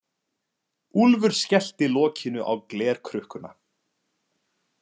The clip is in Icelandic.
Úlfur skellti lokinu á glerkrukkuna.